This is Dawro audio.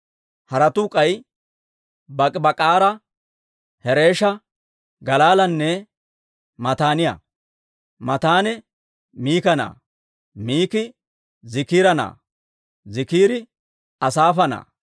Haratuu k'ay Bak'ibak'aara, Hereesha, Galaalanne Mataaniyaa. Mataanee Miika na'aa; Miiki Ziikira na'aa; Ziikiri Asaafa na'aa.